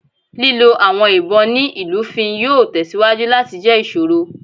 Lilo awọn ibon ni ilufin yoo tẹsiwaju lati jẹ iṣoro.